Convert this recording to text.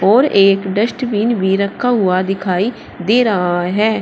और एक डस्टबिन भी रखा हुआ दिखाई दे रहा है।